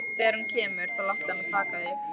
Þegar hún kemur þá láttu hana taka þig.